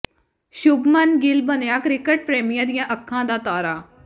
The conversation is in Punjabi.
ਸ਼ੁਭਮਨ ਗਿੱਲ ਬਣਿਆ ਕ੍ਰਿਕਟ ਪ੍ਰੇਮੀਆਂ ਦੀਆਂ ਅੱਖਾਂ ਦਾ ਤਾਰਾ